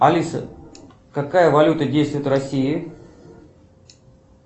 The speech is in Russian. алиса какая валюта действует в россии